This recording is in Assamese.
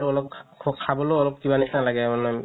অলপ খাবলৈও অলপ কিবা নিচিনা লাগে মানে